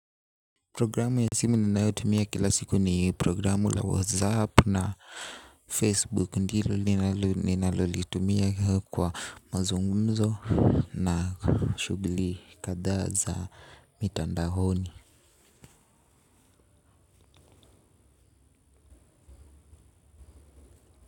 Programu ya simu ninayotumia kila siku ni programu la 'Whatsapp' na 'Facebook' ndilo ninalolitumia kwa mazungumzo. Na shughli kadhaa za mitandaoni.